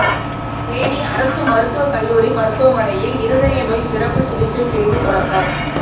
தேனி அரசு மருத்துவக்கல்லூரி மருத்துவமனையில் இருதய நோய் சிறப்பு சிகிச்சைப் பிரிவு தொடக்கம்